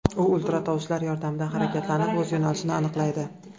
U ultratovushlar yordamida harakatlanib, o‘z yo‘nalishini aniqlaydi.